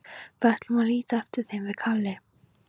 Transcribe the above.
Við ætlum að líta eftir þeim, við Kalli.